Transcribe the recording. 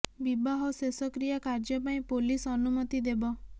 ବିବାହ ଓ ଶେଷ କ୍ରିୟା କାର୍ଯ୍ୟ ପାଇଁ ପୋଲିସ ଅନୁମତି ଦେବ